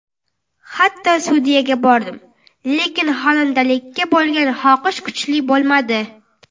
Hatto studiyaga bordim, lekin xonandalikka bo‘lgan xohish kuchli bo‘lmadi.